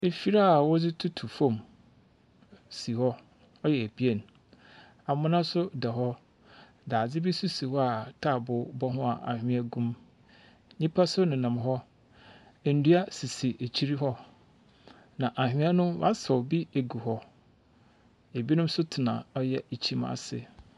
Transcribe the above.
Mfiri a wɔdze tutu fam si hɔ. Ɔyɛ ebien. Amena nso da hɔ. Dadze bi nso si hɔ a taaboo bɔ ho a anwea gum. Nnipa nso nenam hɔ. Nnua sisi akyiri hɔ, na ahwea no, wɔasaw bi egu hɔ. Ebinom nso tena ɔyɛ ekyim ase.